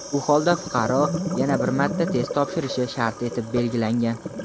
u holda fuqaro yana bir marta test topshirishi shart etib belgilangan.